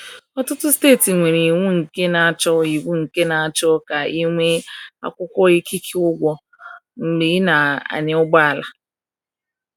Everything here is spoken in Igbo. Ọtụtụ steeti nwere iwu nke na-achọ iwu nke na-achọ ka ị nwee akwụkwọ ikike ụgwọ mgbe ị na-anya ụgbọala.